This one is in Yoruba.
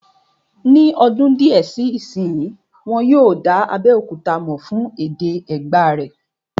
Ní ọdún díẹ̀ sí ìsínyi, wọ́n yóò dá Abéòkúta mọ̀ fún èdè Ẹ̀gbá rẹ̀